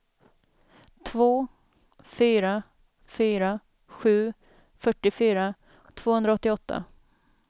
två fyra fyra sju fyrtiofyra tvåhundraåttioåtta